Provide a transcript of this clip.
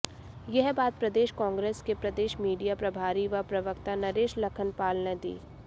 यह बात प्रदेश कांग्रेस के प्रदेश मीडिया प्रभारी व प्रवक्ता नरेश लखनपाल ने दी